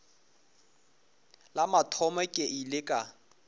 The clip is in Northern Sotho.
la mathomo ke ile ka